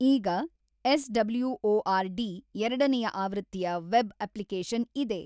ಈಗ ಎಸ್.ಡಬ್ಲ್ಯೂ.ಓ.ಆರ್.ಡಿ. ಎರಡನೆಯ ಆವೃತ್ತಿಯ ವೆಬ್ ಅಪ್ಲಿಕೇಶನ್ ಇದೆ.